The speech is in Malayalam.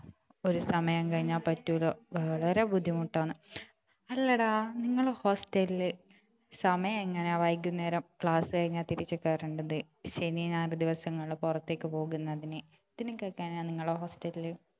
ഒരു സമയം കഴിഞ്ഞാൽ പറ്റൂല വളരെ ബുദ്ധിമുട്ടാണ് അല്ലടാ നിങ്ങളുടെ Hostel ല് സമയം എങ്ങനെയാ വൈകുന്നേരം class കഴിഞ്ഞാൽ തിരിച്ച് കേറേണ്ടത് ശനിയും ഞായറും ദിവസങ്ങളിൽ പുറത്തേക്ക് പോകുന്നതിന് ഇതിനൊക്കെ എങ്ങനെയാ നിങ്ങളെ hostel ല്